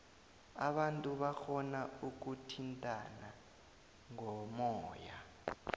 abantu barhona ukuthintana ngomoya